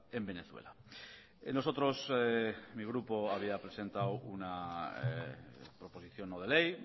en venezuela nosotros mi grupo había presentado una proposición no de ley